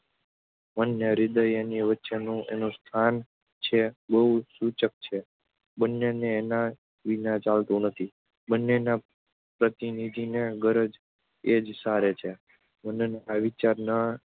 મન ને હૃદય-એની વચ્ચેનું એનું સ્થાન છે તે બહુ સૂચક છે. બંનેને એના વિના ચાલતું નથી. બંનેના પ્રતિનિધિની ગરજ એ જ સારે છે. મનના વિચાર ને